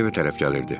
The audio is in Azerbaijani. Tom evə tərəf gəlirdi.